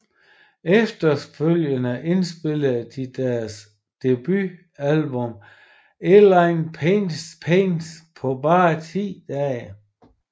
Efterfølgende indspillede de deres debutalbum Endless Pain på bare ti dage